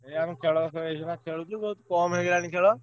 ହଁ ଆମେ ଖେଳ ସବୁ ଏଇଖିନା ଖେଳୁଛୁ ବହୁତ୍ କମ୍ ହେଇଗଲାଣି ଖେଳ।